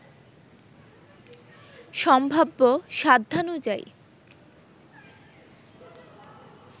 সম্ভাব্য সাধ্যানুযায়ী